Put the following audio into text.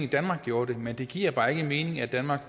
danmark gjorde det men det giver bare ikke mening at danmark